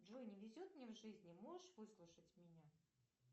джой не везет мне в жизни можешь выслушать меня